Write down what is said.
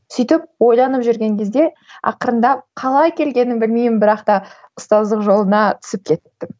сөйтіп ойланып жүрген кезде ақырындап қалай келгенімді білмеймін бірақ та ұстаздық жолына түсіп кеттім